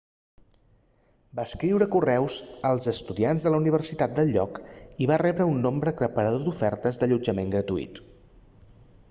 va escriure correus als estudiants de la universitat del lloc i va rebre un nombre aclaparador d'ofertes d'allotjament gratuït